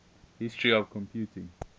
history of computing